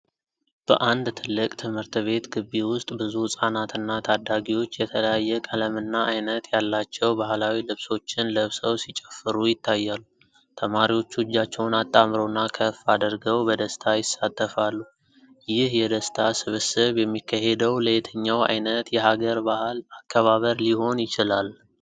በአንድ ትልቅ ትምህርት ቤት ግቢ ውስጥ ብዙ ሕፃናትና ታዳጊዎች የተለያየ ቀለምና ዓይነት ያላቸው ባህላዊ ልብሶችን ለብሰው ሲጨፍሩ ይታያሉ። ተማሪዎቹ እጃቸውን አጣምረውና ከፍ አድርገው በደስታ ይሳተፋሉ። ይህ የደስታ ስብስብ የሚካሄደው ለየትኛው ዓይነት የሀገር በዓል አከባበር ሊሆን ይችላል?